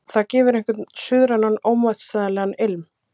Það gefur einhvern suðrænan og ómótstæðilegan ilm.